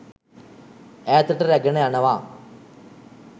ඈතට රැගෙන යනවා.